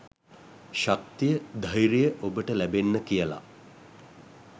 ශක්තිය ධෛර්යය ඔබට ලැබෙන්න කියල